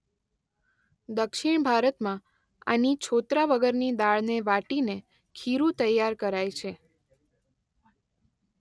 દક્ષિણભારતમાં આની છોતરા વગરની દાળને વાટીને ખીરું તૈયાર કરાય છે.